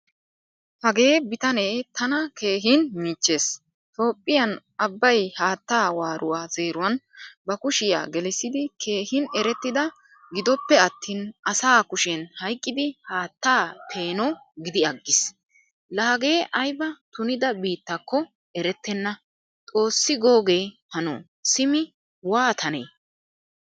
Hagee bitane tana keehin michchees. Toophphiyaan abay haattaa waaruwaa zeeruwan ba kushiyaa gelisidi keehin erettida gidoppe attin asa kushen hayqqid haattaa peeno gidiyagiis. La hagee ayba tunida biittakko erettena. Xoosi googe hano simi waatane.